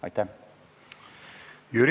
Aitäh!